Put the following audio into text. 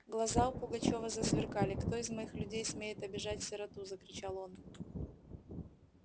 глаза у пугачёва засверкали кто из моих людей смеет обижать сироту закричал он